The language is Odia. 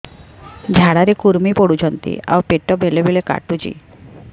ଝାଡା ରେ କୁର୍ମି ପଡୁଛନ୍ତି ଆଉ ପେଟ ବେଳେ ବେଳେ କାଟୁଛି